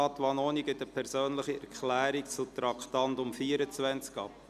Vanoni gibt eine persönliche Erklärung zum Traktandum 24 ab.